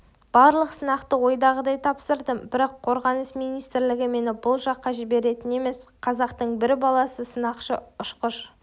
барлық сынақты ойдағыдай тапсырдым бірақ қорғаныс министрлігі мені бұл жаққа жіберетін емес қазақтың бір баласы сынақшы-ұшқыш